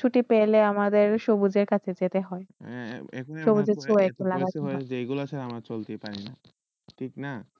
সতী পেলে আমাদের গুজটেক আসে যাইতে হয়